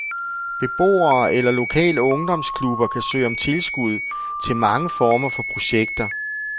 Beboere eller lokale ungdomsklubber kan søge om tilskud til mange former for projekter.